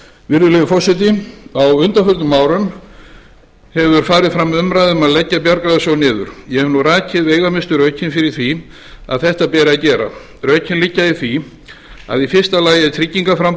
virðulegi forseti á undanförnum árum hefur farið fram umræða um að leggja bjargráðasjóð niður ég hef rakið veigamestu rökin fyrir því að þetta beri að gera rökin liggja í því að í fyrsta lagi